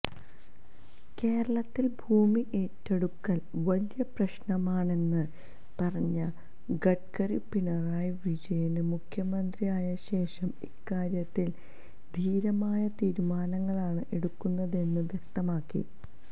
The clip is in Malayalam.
കേരളത്തില് ഭൂമി ഏറ്റെടുക്കല് വലിയ പ്രശ്നമാണെന്ന് പറഞ്ഞ ഗഡ്കരി പിണറായി വിജയന് മുഖ്യമന്ത്രിയായശേഷം ഇക്കാര്യത്തില് ധീരമായ തീരുമാനങ്ങളാണ് എടുക്കുന്നതെന്ന് വ്യക്തമാക്കി